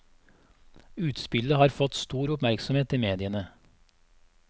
Utspillet har fått stor oppmerksomhet i mediene.